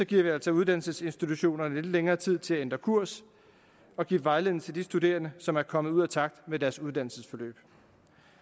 giver vi altså uddannelsesinstitutionerne lidt længere tid til at ændre kurs og give vejledning til de studerende som er kommet ud af takt med deres uddannelsesforløb